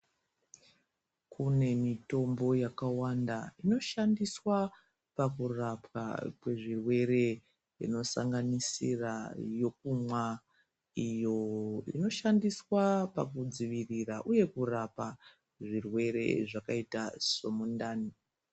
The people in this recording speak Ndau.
Kune mitombo yakawanda inoshandiswa pakurapwa kwezvirwere inosanganisira yokumwa iyo inoshandiswa pakudzivirira uye kurapa zvirwere zvakaita somundani.